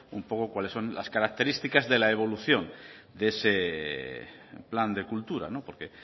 un poco cuáles son las características de la evolución de ese plan de cultura